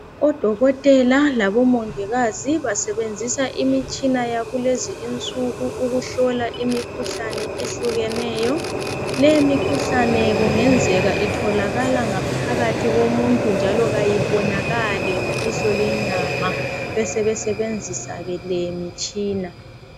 Odokotela labomongikazi basebenzisa imitshina yakulezinsuku ukuhlola imikhuhlane ehlukeneyo le mikhuhlane kungenzeka itholakala ngaphakathi komuntu njalo ayibonakali ngelihlo lenyama besebesebenzisa ke lemitshina